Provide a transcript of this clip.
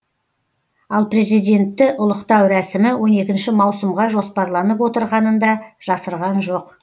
ал президентті ұлықтау рәсімі он екінші маусымға жоспарланып отырғанын да жасырған жоқ